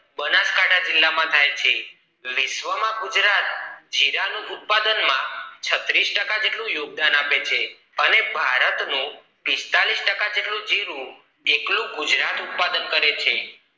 બનાસકાંઠા જિલ્લા માં થાય છે વિશ્વ માં ગુજરાત જીરા નું ઉત્પાદન માં છતીરસ ટકા જેટલું યોગદાન આપે છે અને ભારત નું પિસ્તાળીસ ટકા જેટલું જીરું એકલું ગુજરાત ઉત્પાદન કરે છે